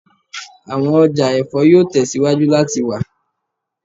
Awọn ọja ẹfọ yoo tẹsiwaju lati wa